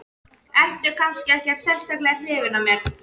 Ertu kannski ekkert sérstaklega hrifin af mér?